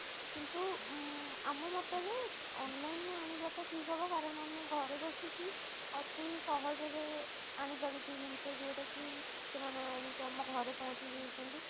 କିନ୍ତୁ ଉଁ ଆମ ମତ ରେ online ରୁ ଆଣିବା ଟା ଠିକ ହବ କାରଣ ଆମେ ଘରେ ବସିକି ଅତି ସହଜ ରେ ଆଣିପାରୁଛେ ଜିନିଷ ଯଉଟା କି ସେମାନେ ଆଣିକି ଆମ ଘରେ ପହଞ୍ଚେଇଦଉଛନ୍ତି